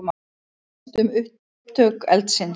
Óvíst um upptök eldsins